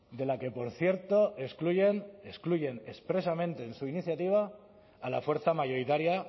de la que por cierto excluyen excluyen expresamente en su iniciativa a la fuerza mayoritaria